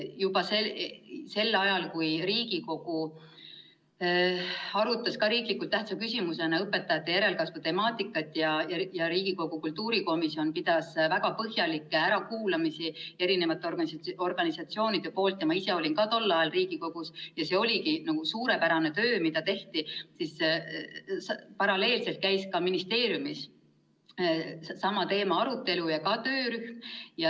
Juba sel ajal, kui Riigikogu arutas riiklikult tähtsa küsimusena õpetajate järelkasvu temaatikat, kultuurikomisjon pidas väga põhjalikke ärakuulamisi ja kutsus komisjoni organisatsioonide esindajaid – ma ise olin ka tol ajal Riigikogus, ja see oligi suurepärane töö, mida tehti –, käis ministeeriumis paralleelselt sellesama teema arutelu ja oli ka töörühm.